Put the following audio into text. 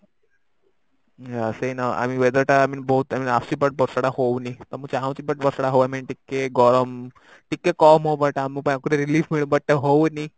ସେଇନ weather ଟା I mean ବହୁତ ଆସୁଛି but ବର୍ଷା ଟା ହଉନି ମୁଁ ଚାହୁଁଚି but ଟା ହଉ I mean ଟିକେ ଗରମ ଟିକେ କମ ହଉ but ଆମକୁ relief ମିଳୁ but ଆଉ ହଉନି